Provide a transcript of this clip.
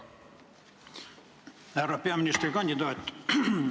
Härra peaministrikandidaat!